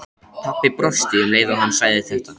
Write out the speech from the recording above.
Pabbi brosti um leið og hann sagði þetta.